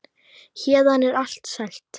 Héðan er allt selt.